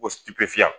Ko